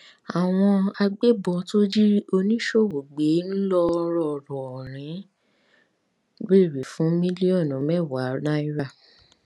àwọn agbébọn tó jí oníṣòwò gbé ńlọrọrìn ń béèrè fún mílíọnù mẹwàá náírà